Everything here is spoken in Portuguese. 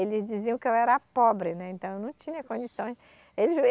Eles diziam que eu era pobre, né, então eu não tinha condições. Eles